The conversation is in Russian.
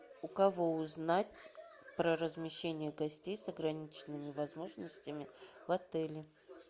у кого узнать про размещение гостей с ограниченными возможностями в отеле